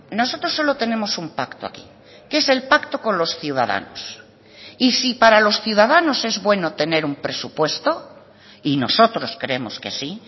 nosotros solo tenemos un pacto aquí que es el pacto con los ciudadanos y si para los ciudadanos es bueno tener un presupuesto y nosotros creemos que sí